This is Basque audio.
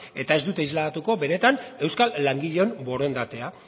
eta ez dute isladatuko benetan euskal langileon borondatea